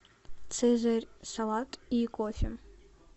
цезарь салат и кофе